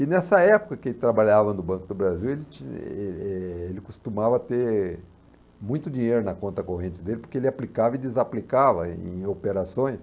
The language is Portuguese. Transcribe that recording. E nessa época que ele trabalhava no Banco do Brasil, ele tinha, ele eh eh ele costumava ter muito dinheiro na conta corrente dele, porque ele aplicava e desaplicava em em operações.